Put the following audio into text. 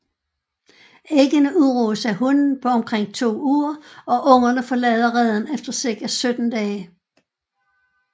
Æggene udruges af hunnen på omkring to uger og ungerne forlader reden efter cirka 17 dage